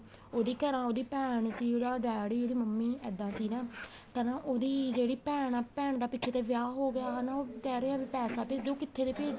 ਉਹਦੀ ਤਰ੍ਹਾਂ ਉਹਦੀ ਭੈਣ ਸੀ ਉਹਦੀ ਡੇਡੀ ਉਹਦੀ ਮੰਮੀ ਇੱਦਾਂ ਸੀ ਨਾ ਤਦ ਉਹਦੀ ਜਿਹੜੀ ਭੈਣ ਆ ਭੈਣ ਦਾ ਪਿੱਛੇ ਤੇ ਵਿਆਹ ਹੋ ਗਿਆ ਹਨਾ ਉਹ ਕਹਿ ਰਿਹਾ ਵੀ ਪੈਸਾ ਭੇਜੋ ਕਿੱਥੇ ਤੋਂ ਭੇਜ